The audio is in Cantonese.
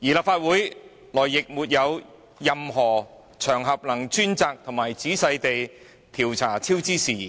避免超支，而立法會內亦沒有任何場合供議員專責和仔細地調查超支事宜。